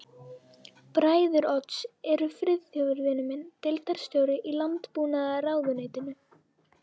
Bræður Odds eru Friðþjófur vinur minn, deildarstjóri í landbúnaðarráðuneytinu